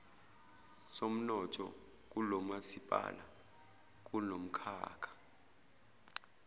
somnotho kulomasipala kunomkhakha